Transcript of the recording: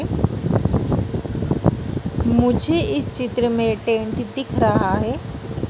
मुझे इस चित्र में टेंट दिख रहा है।